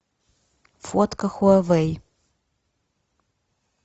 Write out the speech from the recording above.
фотка хуавей